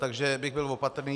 Takže bych byl opatrný.